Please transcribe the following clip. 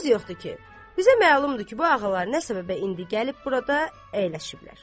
Söz yoxdur ki, bizə məlumdur ki, bu ağalar nə səbəbə indi gəlib burada əyləşiblər.